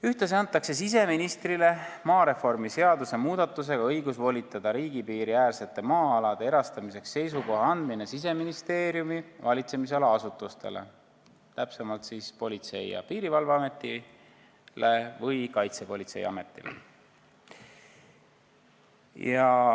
Ühtlasi antakse siseministrile maareformi seaduse muudatusega õigus volitada riigi piiriäärsete maa-alade erastamiseks seisukoha andmine Siseministeeriumi valitsemisala asutustele, täpsemalt Politsei- ja Piirivalveametile või Kaitsepolitseiametile.